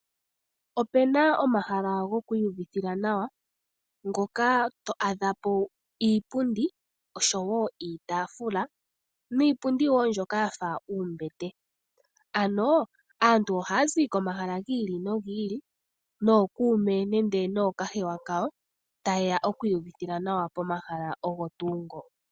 Opena omahala gokwi ihuvithila nawa mpoka to adhapo iipundi osho woo iitafula nuupundi mboka wafa oombete. Aantu ohazi komahala gi ili no gi ili nookume nenge nookahewa kawo ta yeya okwihuvithila nawa pomahala ogo tuu ngoka.